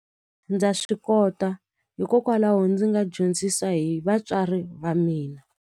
Ndza swi kota hikokwalaho ndzi nga dyondzisa hi vatswari va mina.